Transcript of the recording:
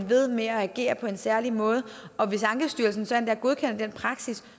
ved med at agere på en særlig måde og hvis ankestyrelsen så endda godkender den praksis